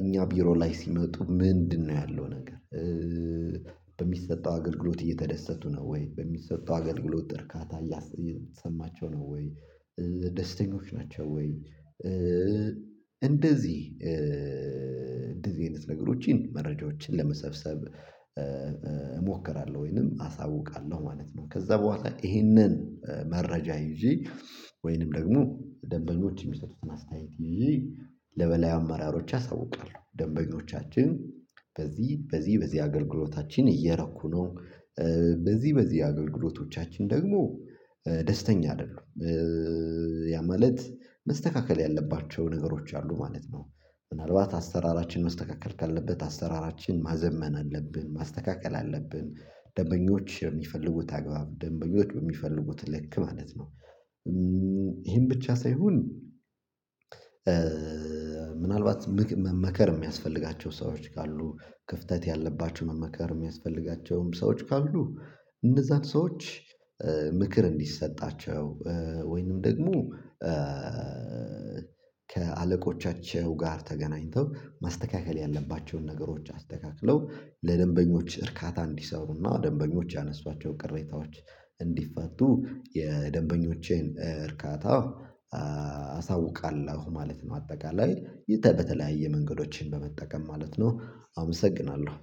እኛ ቢሮ ላይ ሲመጡ ምንድነው ያለው ነገር ኧኧኧ በሚሰጠው አገልግሎት እየተደሰቱ ነው ወይ በሚሰጠው አገልግሎት እርካታ እያሰ እየተሰማቸው ነው ወይ ደስተኞች ናቸው ወይ? ኧ እንደዚህ እንደዚህ አይነት ነገሮችን መረጃዎችን ለመሰብሰብ እሞክራለሁ ወይንም አሳውቃለሁ ማለት ነው። ከዛ ቡሃላ ይሄንን መረጃ ይዤ ወይንም ደግሞ ደንበኞች እሚሰጡትን አስተያየት ይዤ ለበላይ አመራሮች አሳውቃለሁ። ደንበኞቻችን በዚህ በዚህ በዚህ አገልግሎታችን እየረኩ ነው ኧ በዚህ በዚህ አገልግሎቶቻችን ደግሞ ደስተኛ አደሉም ኧኧኧ ያ ማለት መስተካከል ያለባቸው ነገሮች አሉ ማለት ነው። ምናልባት አስተራራችን መስተካከል ካለበት አስተራራችን ማዘመን አለብን ማስተካከል አለብን። ደንበኞች በሚፈልጉት አግባብ ደንበኞች በሚፈልጉት ልክ ማለት ነው። ይሄም ብቻ ሳይሆን ምናልባት ምክ መመከር እሚያስፈልጋቸው ሰዎች ካሉ ክፍተት ያለባቸው መመከር እሚያስፈልጋቸውም ሰዎች ካሉ እነዛን ሰዎች ኧ ምክር እንዲሰጣቸው ወይንም ደግሞ ኧ ከአለቆቻቸው ጋር ተገናኝተው ማስተካከል ያለባቸውን ነገሮች አስተካክለው ለደንበኞች እርካታ እንዲሰሩና ደንበኞች ያነሷቸው ቅሬታዎች እንዲፋቱ የደንበኞቼን እርካታ አሳውቃለሁ ማለት ነው። አጠቃላይ በተለያየ መንገዶችን በመጠቀም ማለት ነው አመሰግናለሁ